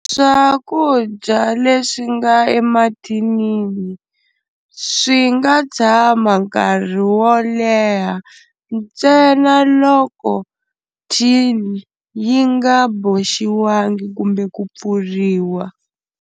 Swakudya leswi nga emathinini swi nga tshama nkarhi wo leha ntsena loko tin yi nga boxiwangi kumbe ku pfuriwa.